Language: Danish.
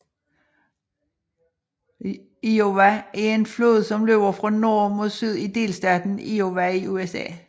Iowa er en flod som løber fra nord mod syd i delstaten Iowa i USA